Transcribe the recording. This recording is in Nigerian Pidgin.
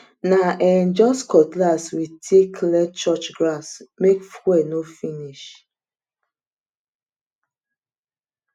na um just cutlass we take clear church grass make fuel no finish